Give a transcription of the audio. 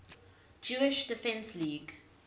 jewish defense league